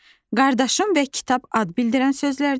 qardaşım və kitab ad bildirən sözlərdir.